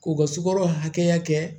K'u ka sukaro hakɛya kɛ